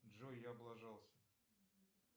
джой я облажался